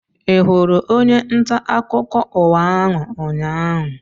Ị hụrụ onye ntaakụkọ ụwa ahụ ụnyaahụ?